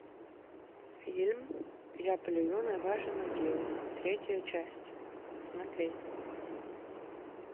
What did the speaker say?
фильм я плюю на ваши могилы третья часть смотреть